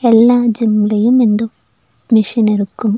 எல்லா ஜிம்லயும் இந்த மிஷுன் இருக்கு.